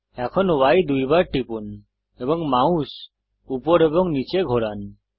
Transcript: এখন Y দুইবার টিপুন এবং মাউস উপর এবং নীচে ঘোরান